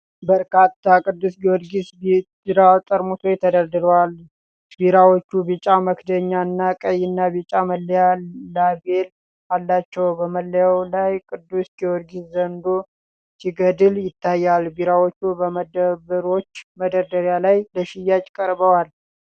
በርካታ ቅዱስ ጊዮርጊስ ቢራ ጠርሙሶች ተደርድረዋል። ቢራዎቹ ቢጫ መክደኛ እና ቀይና ቢጫ መለያ (ላቤል) አላቸው። በመለያው ላይ ቅዱስ ጊዮርጊስ ዘንዶ ሲገድል ይታያል። ቢራዎቹ በመደብሮች መደርደሪያ ላይ ለሽያጭ ቀርበዋል።